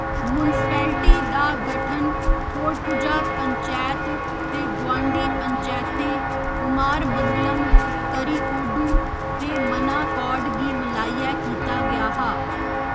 municipality दा गठन थोडपुझा पंचैत ते गुआंढी पंचैतें कुमारमंगलम, करिकोडु ते मनाकौड गी मलाइयै कीता गेआ हा